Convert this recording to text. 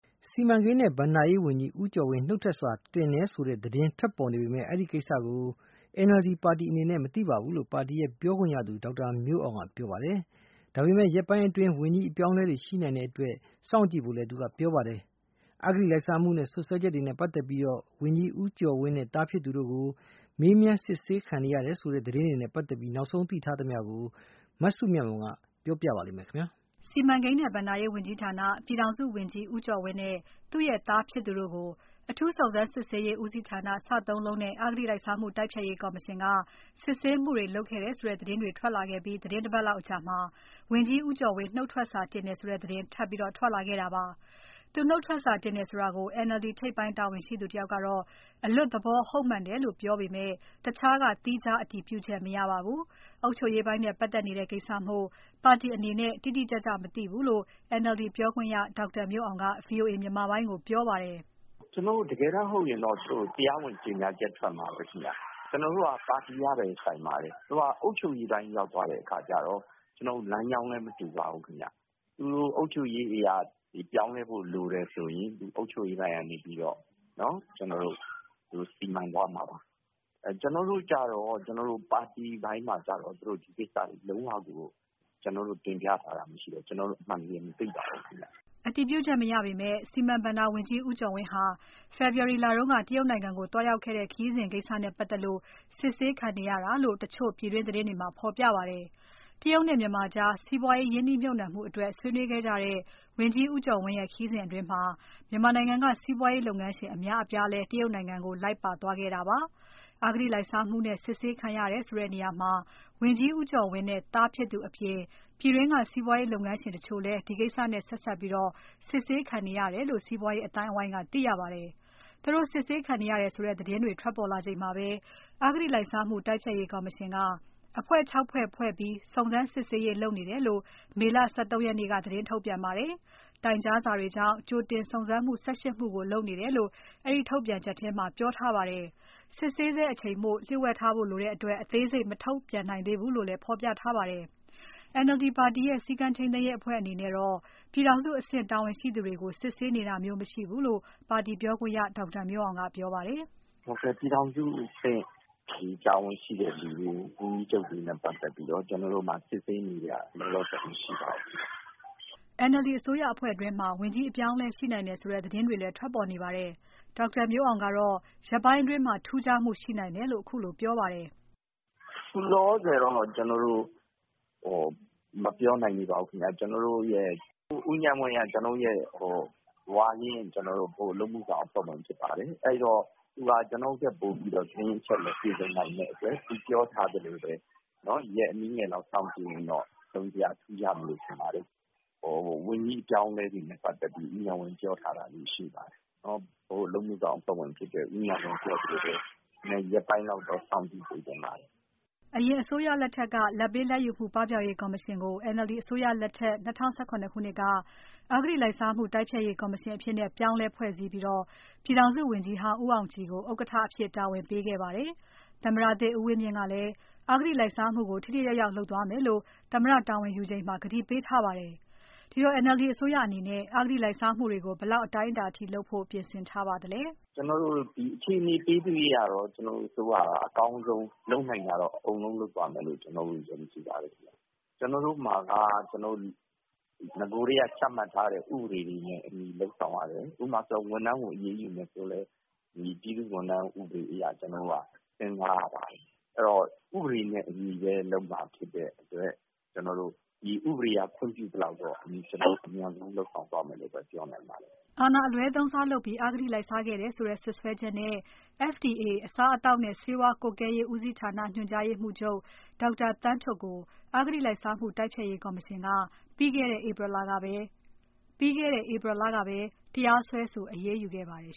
စီမံကိန်းနဲ့ ဘဏ္ဍာရေးဝန်ကြီးဦးကျော်ဝင်း နုတ်ထွက်စာတင်တယ်ဆိုတဲ့သတင်းတွေ ထွက်ပေါ်နေပေမဲ့ ဒီကိစ္စကို NLD ပါတီအနေနဲ့ မသိဘူးလို့ ပါတီပြောခွင့်ရသူ ဒေါက်တာမျိုးအောင်က ပြောပါတယ်။ ဒါပေမဲ့ ရက်ပိုင်းအတွင်း ဝန်ကြီးအပြောင်းအလဲတွေရှိနိုင်တဲ့အတွက် စောင့်ကြည့်ဖို့လည်း သူကပြောပါတယ်။ အဂတိလိုက်စားမှုစွပ်စွဲချက်တွေနဲ့ပါတ်သက်လို့ ဝန်ကြီးဦးကျော်ဝင်းနဲ့ သားဖြစ်သူတို့ မေးမြန်းစစ်ဆေးခံနေရတယ်ဆိုတဲ့ သတင်းတွေနဲ့ပါတ်သက်လို့ နောက်ဆုံးသိထားတာကို မစုမြတ်မွန်က ဆက်ပြီးပြောပြပါမယ်။ စီမံကိန်းနဲ့ ဘဏ္ဍာရေးဝန်ကြီးဌာန ပြည်ထောင်စုဝန်ကြီး ဦးကျော်ဝင်းနဲ့ သူ့ရဲ့သားဖြစ်သူတို့ကို အထူးစုံစမ်းစစ်ဆေးရေးဦးစီးဌာန (စစစ) နဲ့ အဂတိလိုက်စားမှု တိုက်ဖျက်ရေးကော်မရှင်က စစ်ဆေးမှုတွေလုပ်ခဲ့တယ်ဆိုတဲ့ သတင်းတွေ ထွက်လာခဲ့ပြီး သီတင်းတပါတ်လောက်အကြာမှာ ဝန်ကြီးဦးကျော်ဝင်း နှုတ်ထွက်စာတင်တယ်ဆိုတဲ့သတင်း ထပ်ထွက်လာခဲ့တာပါ။ သူနှုတ်ထွက်စာတင်တယ်ဆိုတာကို NLD ထိပ်ပိုင်းတာဝန်ရှိသူတယောက်ကတော့ အလွတ်သဘောဟုတ်မှန်တယ်လို့ ပြောပေမဲ့ တခြားက သီးခြားအတည်ပြုချက်မရပါဘူး။ အုပ်ချုပ်ရေးပိုင်းနဲ့ပါတ်သက်နေတဲ့ ကိစ္စမို့ ပါတီအနေနဲ့ တိတိကျကျ မသိဘူးလို့ NLD ပြောခွင့်ရ ဒေါက်တာမျိုးအောင်က VOA မြန်မာပိုင်းကို ပြောပါတယ်။ "ကျနော်တို့ တကယ်တန်းဟုတ်ရင်တော့ တရားဝင်ကြေညာချက်ထွက်မှာပါ။ ကျနော်တို့က ပါတီကပဲဆိုင်ပါတယ် သူက အုပ်ချုပ်ရေးအပိုင်းရောက်သွားတဲ့အခါကျတော့ ကျနော်တို့ လမ်းကြောင်းလည်းမတူပါဘူး။ သူတို့ အုပ်ချုပ်ရေးတွေ ပြောင်းလဲဖို့လိုတယ်ဆိုရင် အုပ်ချုပ်ရေးအပိုင်းကနေပြီးတော့ ကျနော်တို့ စီမံသွားမှာပါ။ ကျနေ်ာတို့ပါတီအပိုင်းမှာကျတော့ ဒီကိစ္စတွေလုံးဝကိုတင်ပြထားတာမရှိဘူး ကျနော်တို့ အမှန်တကယ်မသိပါဘူး။" အတည်ပြုချက်မရပေမဲ့ စီမံဘဏ္ဍာဝန်ကြီး ဦးကျော်ဝင်းဟာ ဖေဖော်ဝါရီလတုန်းက တရုတ်နိုင်ငံကို သွားရောက်ခဲ့တဲ့ ခရီးစဉ်ကိစ္စနဲ့ပါတ်သက်လို့ စစ်ဆေးခံနေရတာလို့ တချို့ပြည်တွင်းသတင်းမှာ ဖော်ပြပါတယ်။ တရုတ်နဲ့မြန်မာကြား စီးပွားရေး ရင်းနှီးမြှုပ်နှံမှုအတွက် ဆွေးနွေးခဲ့ကြတဲ့ ဝန်ကြီးဦးကျော်ဝင်းရဲ့ ခရီးစဉ်အတွင်း စီးပွားရေးလုပ်ငန်းရှင်အများအပြားလည်း တရုတ်နိုင်ငံကို လိုက်ပါသွားခဲ့တာပါ။ အဂတိလိုက်စားမှုနဲ့ စစ်ဆေးခံရတယ်ဆိုတဲ့နေရာမှာ ဝန်ကြီးဦးကျော်ဝင်းနဲ့ သားဖြစ်သူအပြင် ပြည်တွင်းက စီးပွားရေးလုပ်ငန်းရှင်တချို့လည်း ဒီကိစ္စနဲ့ ဆက်စပ်ပြီး စစ်ဆေးခံခဲ့ရတယ်လို့ စီးပွားရေးအသိုင်းအဝိုင်းက သိရပါတယ်။ သူတို့စစ်ဆေးခံနေရတယ်ဆိုတဲ့ သတင်းတွေ ထွက်ပေါ်လာချိန်မှာပဲ အဂတိလိုက်စားမှု တိုက်ဖျက်ရေးကော်မရှင်က အဖွဲ့ (၆) ဖွဲ့ ဖွဲ့စည်းပြီး စုံစမ်းစစ်ဆေးရေးလုပ်နေတယ်လို့ မေလ ၁၃ ရက်နေ့က သတင်းထုတ်ပြန်ပါတယ်။ တိုင်ကြားစာတွေကြောင့် ကြိုတင်စုံစမ်းမှု ၁၈ မှုကို လုပ်နေတယ်လို့ အဲဒီထုတ်ပြန်ချက်ထဲမှာ ပြောထားပါတယ်။ စစ်ဆေးဆဲအချိန်မှာ လှို့ဝှက်ထားဖို့လိုတဲ့အတွက် အသေးစိတ် မထုတ်ပြန်နိုင်သေးဘူးလို့လည်း ဖော်ပြထားပါတယ်။ NLD ပါတီရဲ့ စည်းကမ်းထိန်းသိမ်းရေးအဖွဲ့အနေနဲ့တော့ ပြည်ထောင်စုအဆင့်တာဝန်ရှိသူတွေကို စစ်ဆေးနေတာမျိုး မရှိဘူးလို့ ပါတီပြောခွင့်ရ ဒေါက်တာမျိုးအောင်ကပြောပါတယ်။ " ပြည်ထောင်စုအဆင့်တာဝန်ရှိသူတွေကို ဝန်ကြီးချုပ်တွေနဲ့ ပတ်သက်ပြီးတော့ ကျနော်တို့မှာ စစ်ဆေးနေတာ လောလောဆည်မရှိပါဘူး။" NLD အစိုးရအဖွဲ့တွင်းမှာ ဝန်ကြီးအပြောင်းအလဲရှိနိုင်တယ်ဆိုတဲ့ သတင်းတွေလည်း ထွက်ပေါ်နေပါတယ်။ ဒေါက်တာမျိုးအောင်ကတော့ ရက်ပိုင်းအတွင်း ထူးခြားမှုရှိနိုင်တယ်လို့ ခုလိုပြောပါတယ်။ "အခုလောလောဆည်တော့ ကျနော်တို့ မပြောနိုင်သေးပါဘူးခင်ဗျ။ ဦးဉာဏ်ဝင်းက ကျနေ်ာတို့ ဝါရင့် ဗဟိုအလုပ်မှုဆောင်အဖွဲ့ဝင်ဖြစ်ပါတယ်။ သူက ကျနော်တို့ထက်ပိုပြီးတော့ သတင်းအချက်အလက်ပြည့်စုံနိုင်မယ့်အတွက် သူပြောထားသလို ရက်အနည်းငယ်လောက်စောင့်ကြည့်ရင်တော့ တစုံတရာ ထူးခြားမယ်လို့ထင်တယ်။ ဝန်ကြီးအပြောင်းအလဲ နဲ့ ပတ်သက်ပြီး ဦးဉာဏ်ဝင်းပြောထားတာလေးတွေရှိတယ်။ ဗဟိုအလုပ်မှုဆောင်အဖွဲ့ဝင်ဖြစ်တဲ့ ဦးဉာဏ်ဝင်းပြောထားသလိုပဲ ရက်ပိုင်းလောက်တော့ စောင့်ကြည့်ပေးစေချင်ပါတယ်။" အရင်အစိုးရလက်ထက်က လာဘ်ပေး လာဘ်ယူမှု ပပျောက်ရေးကော်မရှင်ကို NLD အစိုးရလက်ထက် ၂၀၁၇ ခုနှစ်က အဂတိလိုက်စားမှု တိုက်ဖျက်ရေးကော်မရှင်အဖြစ် ပြောင်းလဲဖွဲ့စည်းပြီး ပြည်ထောင်စုဝန်ကြီးဟောင်း ဦးအာင်ကြည်ကို ဥက္ကဋ္ဌအဖြစ်တာဝန်ပေးခဲ့ပါတယ်။ သမ္မတသစ်ဦးဝင်းမြင့်ကလည်း အဂတိလိုက်စားမှုကို ထိထိရောက်ရောက်လုပ်သွားမယ်လို့ သမ္မတာဝန်ယူချိန်မှာ ကတိပေးထားပါတယ်။ ဒီတော့ NLD အစိုးရအနေနဲ့ အဂတိလိုက်စားမှုတွေကို ဘယ်လောက်အတိုင်းအတာအထိ လုပ်ဖို့ ပြင်ဆင်ထားပါသလဲ "ကျနော်တို့အခြေအနေပေးသရွေ့ကတော့ ကျနော်တို့ အစိုးရက အကောင်းဆုံးလုပ်နိုင်တာကိုတော့ အကုန်လုံးလုပ်သွားမယ်လို့ ယုံကြည်ပါတယ်။ ကျနော်တို့မှာက နဂိုကတည်းက ချမှတ်ထားတဲ့ ဥပဒေတွေနဲ့အညီလုပ်ဆောင်ရတယ်။ ဝန်ကြီးတွေကိုလည်း ဝန်ကြီးဥပဒေအရ ကျနော်တို့က လုပ်ရပါတယ်။ အဲဒီတော့ ဥပဒေတွေနဲ့အညီလုပ်မှာ ဖြစ်တဲ့အတွက် ဒီဥပဒေက ခွင့်ပြုသလောက်ကတော့ ကျတော်တို့ အမြန်ဆုံးလုပ်ဆောင်သွားမယ်လို့ ပြောနိုင်ပါတယ်။" အာဏာအလွဲသုံးစားလုပ်ပြီး အဂတိလိုက်စားခဲ့တယ်ဆိုတဲ့စွဲချက်နဲ့ FDA အစားအသောက်နဲ့ ဆေးဝါးကွပ်ကဲရေးဦးစီးဌာန ညွန်ကြားရေးမှုးချုပ် ဒေါက်တာသန်းထွဋ်ကို အဂတိလိုက်စားမှုတိုက်ဖျက်ရေးကော်မရှင်က ပြီးခဲ့တဲ့ ဧပြီလကပဲ တရားစွဲဆို အရေးယူခဲ့ပါတယ်